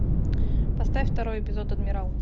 поставь второй эпизод адмирал